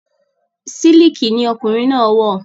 Sílìkì ni ọkùnrin náà wọ̀